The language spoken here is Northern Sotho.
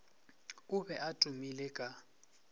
o be a tumile ka